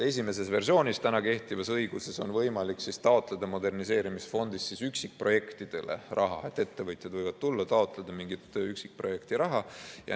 Esimeses versioonis, täna kehtivas õiguses, on võimalik taotleda moderniseerimisfondist üksikprojektidele raha, ettevõtjad võivad tulla, taotleda mingit üksikprojekti raha.